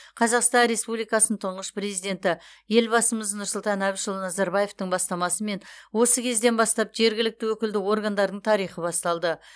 қазақстан республикасы тұңғыш президенті елбасымыз нұрсұлтан әбішұлы назарбаевтың бастамасымен осы кезден бастап жергілікті өкілді органдардың тарихы басталды